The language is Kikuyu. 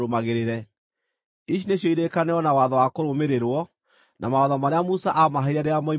Ici nĩcio irĩkanĩro na watho wa kũrũmĩrĩrwo, na mawatho marĩa Musa aamaheire rĩrĩa moimire bũrũri wa Misiri,